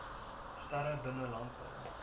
sterre binne landbou